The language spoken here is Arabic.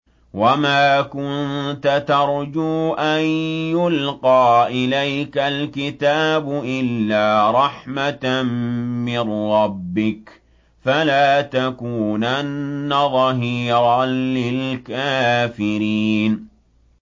وَمَا كُنتَ تَرْجُو أَن يُلْقَىٰ إِلَيْكَ الْكِتَابُ إِلَّا رَحْمَةً مِّن رَّبِّكَ ۖ فَلَا تَكُونَنَّ ظَهِيرًا لِّلْكَافِرِينَ